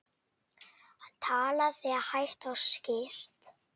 Hann talaði hægt og skýrt.